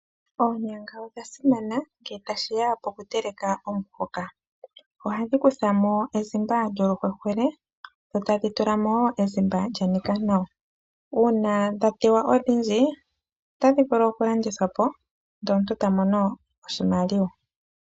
Oonyanga odha simana nge tashi ya pokutekela omuhoka. Ohadhi kutha mo ezimba lyoluhwehwele, dho tadhi tula mo wo ezimba lya nika nawa. Uuna dha teywa odhindji, otadhi vulu okulandithwa po ndele omuntu ta mono oshimaliwa.